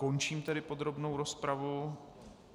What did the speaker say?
Končím tedy podrobnou rozpravu.